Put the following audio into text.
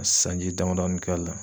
A sanji damadɔni k'a la